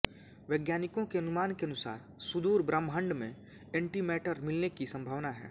वैज्ञानिकों के अनुमान के अनुसार सुदूर ब्रह्मांड में एंटीमैटर मिलने की संभावना है